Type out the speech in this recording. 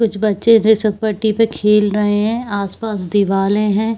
कुछ बच्चे जे सरपट्टी पे खेल रहै है आसपास दीवाले है।